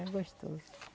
É gostoso.